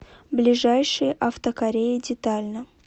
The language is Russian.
ближайший автокорея детально